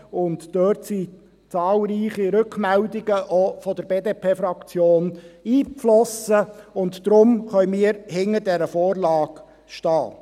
Dort sind zahlreiche Rückmeldungen eingeflossen, auch von der BDP-Fraktion, und darum können wir hinter dieser Vorlage stehen.